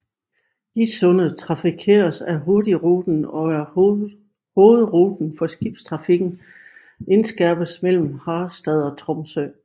Gisundet trafikeres af Hurtigruten og er hovedruten for skibstrafikken indenskærs mellem Harstad og Tromsø